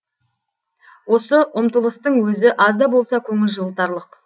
осы ұмтылыстың өзі аз да болса көңіл жылытарлық